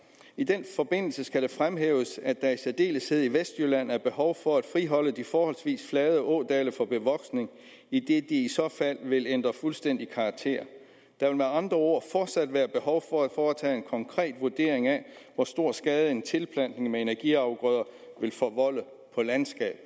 i den forbindelse skal det fremhæves at der i særdeleshed i vestjylland er behov for at friholde de forholdsvis flade ådale for bevoksning idet de i så fald vil ændre fuldstændig karakter der vil med andre ord fortsat være behov for at foretage en konkret vurdering af hvor stor skade en tilplantning med energiafgrøder vil forvolde på landskabet